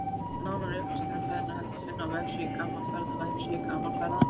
Nánari upplýsingar um ferðina er hægt að finna á vefsíðu Gaman Ferða-vefsíðu Gaman ferða